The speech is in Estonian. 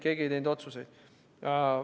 Keegi ei teinud otsuseid.